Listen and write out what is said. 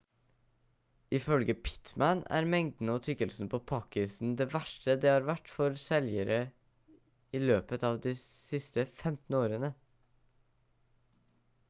ifølge pittman er mengden og tykkelsen på pakk-isen det verste det har vært for seljegere i løpet av de siste 15 årene